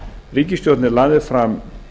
ríkisstjórnin lagði fram